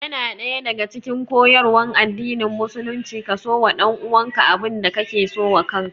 Yana daya daga cikin koyarwan addinin musulunci ka so wa ɗanuwanka abin da ka so wa kaka